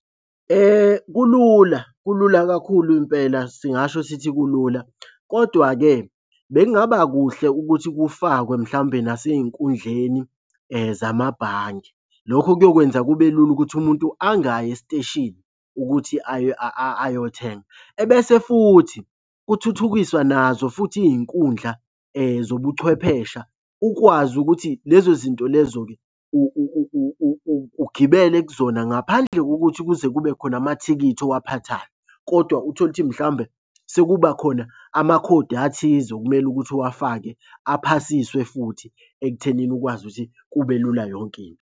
Kulula, kulula kakhulu impela singasho sithi kulula, kodwa-ke bekungaba kuhle ukuthi kufakwe mhlawumbe nasey'nkundleni zamabhange. Lokho kuyokwenza kube lula ukuthi umuntu angayi esiteshini, ukuthi ayothenga. Ebese futhi kuthuthukiswa nazo futhi iy'nkundla zobuchwephesha ukwazi ukuthi lezo zinto lezo-ke ugibele kuzona ngaphandle kokuthi kuze kube khona amathikithi owaphathayo kodwa uthole ukuthi mhlawumbe sekuba khona amakhodi athize okumele ukuthi uwafake aphasiswe futhi ekuthenini ukwazi ukuthi kube lula yonke into.